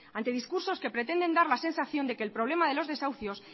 ante discursos que pretenden dar la sensación de que el problema de los desahucios